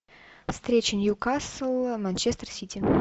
встреча ньюкасл манчестер сити